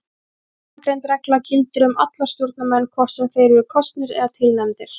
Framangreind regla gildir um alla stjórnarmenn hvort sem þeir eru kosnir eða tilnefndir.